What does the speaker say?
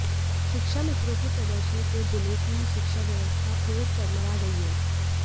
शिक्षामित्रों के प्रदर्शन से जिले की शिक्षा व्यवस्था फिर चरमरा गई है